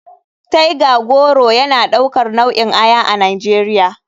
Tiger goro yana daukar nau'in aya a nigeria.